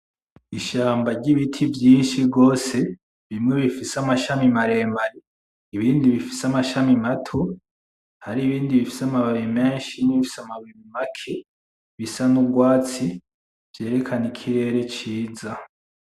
Ishamba ry'ibiti vyinshi gose bimwe bifise amashami maremare ibindi bifise amashami mato hari ibindi bifise amabi menshi, n'ibindi bifise amabi make, bisa n'urwatsi vyerekana ikirere ciza.